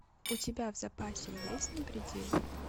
у тебя в запасе есть на пределе